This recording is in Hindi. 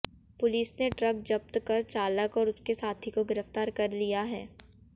पुलिस ने ट्रक जब्त कर चालक और उसके साथी को गिरफ्तार कर लिया है